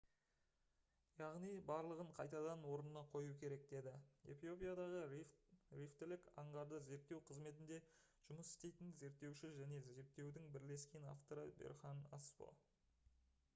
«яғни барлығын қайтадан орнына қою керек» - деді эфиопиядағы рифтілік аңғарды зерттеу қызметінде жұмыс істейтін зерттеуші және зерттеудің бірлескен авторы берхан асфо